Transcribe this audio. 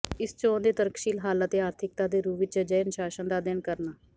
ਇਸ ਚੋਣ ਦੇ ਤਰਕਸ਼ੀਲ ਹੱਲ ਅਤੇ ਆਰਥਿਕਤਾ ਦੇ ਰੂਪ ਵਿੱਚ ਅਜਿਹੇ ਅਨੁਸ਼ਾਸਨ ਦਾ ਅਧਿਐਨ ਕਰਨਾ